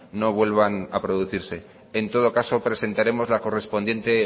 no vuelvan a producirse en todo caso presentaremos la correspondiente